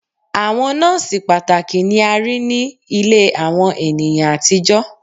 Awọn nọọsi pataki ni a rii ni ile awọn eniyan atijọ